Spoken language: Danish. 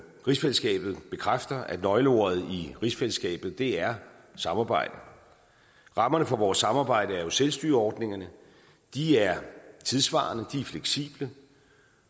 rigsfællesskabet bekræfter at nøgleordet i rigsfællesskabet er samarbejde og rammerne for vores samarbejde er jo selvstyreordningerne de er tidssvarende og fleksible